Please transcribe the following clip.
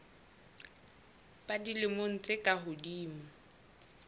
ba dilemo tse ka hodimo